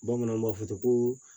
Bamananw b'a fɔ ko